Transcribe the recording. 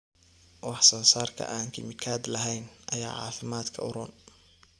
Wax soo saarka aan kiimikaad lahayn ayaa caafimaadka u roon.